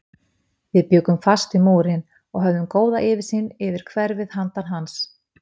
Við bjuggum fast við Múrinn og höfðum góða yfirsýn yfir hverfið handan hans.